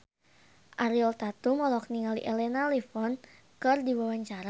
Ariel Tatum olohok ningali Elena Levon keur diwawancara